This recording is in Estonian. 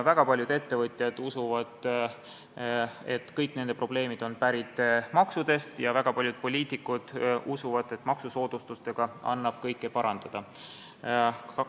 Väga paljud ettevõtjad usuvad, et kõik nende probleemid on pärit maksudest, ja väga paljud poliitikud usuvad, et maksusoodustustega annab kõike parandada.